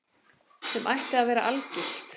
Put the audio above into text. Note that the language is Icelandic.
Sem ætti að vera algilt.